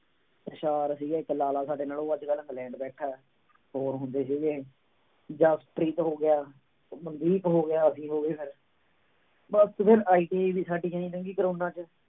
ਸੀਗਾ ਇੱਕ ਲਾਲਾ ਸਾਡੇ ਨਾਲ ਉਹ ਅੱਜ ਕੱਲ੍ਹ ਇੰਗਲੈਂਡ ਬੈਠਾ, ਹੋਰ ਹੁੰਦੇ ਸੀਗੇ ਜਸਪ੍ਰੀਤ ਹੋ ਗਿਆ, ਮਨਦੀਪ ਹੋ ਗਿਆ ਅਸੀਂ ਹੋ ਗਏ ਫਿਰ ਬਸ ਤੇ ਫਿਰ ITI ਵੀ ਸਾਡੀ ਇਉਂ ਹੀ ਲੰਘੀ ਕੋਰੋਨਾ ਚ।